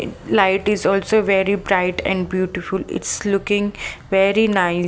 Light is also very bright and beautiful it's looking very nice.